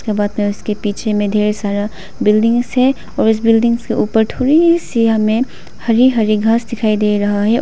के पीछे में ढेर सारा बिल्डिंगस है और इस बिल्डिंग्स के ऊपर थोड़ी सी हमें हरी हरी घास दिखाई दे रहा है और--